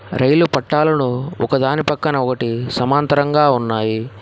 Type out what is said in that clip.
రైలు పట్టాలలో ఒకదాని పక్కన ఒకటి సమాంతరంగా ఉన్నాయి.